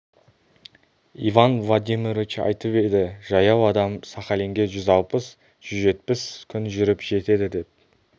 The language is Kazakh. иван владимирович айтып еді жаяу адам сахалинге жүз алпыс жүз жетпіс күн жүріп жетеді деп